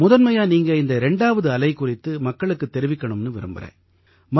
முதன்மையா நீங்க இந்த இரண்டாவது அலை குறித்து மக்களுக்குத் தெரிவிக்கணும்னு விரும்புகிறேன்